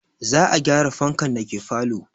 Za a gyara fankan dake falo